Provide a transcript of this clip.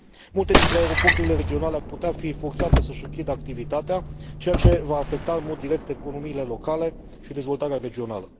Multe dintre aeroporturile regionale ar putea fi forțate să și închidă activitatea, ceea ce va afecta în mod direct economiile locale și dezvoltarea regională.